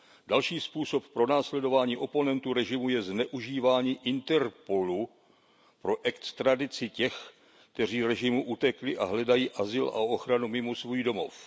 Další způsob pronásledování oponentů režimu je zneužívání Interpolu pro extradici těch, kteří režimu utekli a hledají azyl a ochranu mimo svůj domov.